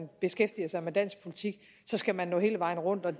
beskæftiger sig med dansk politik så skal man nå hele vejen rundt og